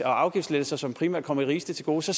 og afgiftslettelser som primært kommer de rigeste til gode så